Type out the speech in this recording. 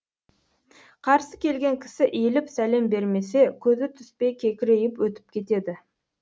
қарсы келген кісі иіліп сәлем бермесе көзі түспей кекірейіп өтіп кетеді